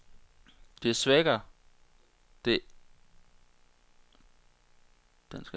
Det svækker det ikke de unges lyst.